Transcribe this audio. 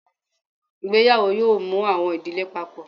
Ìgbéyàwó yóò mú awọn idile Pápọ